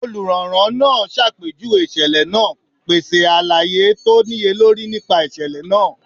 Oluranran naa ṣapejuwe iṣẹlẹ naa, pese alaye to niyelori nipa iṣẹlẹ naa.